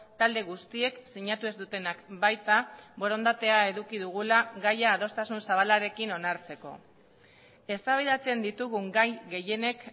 talde guztiek sinatu ez dutenak baita borondatea eduki dugula gaia adostasun zabalarekin onartzeko eztabaidatzen ditugun gai gehienek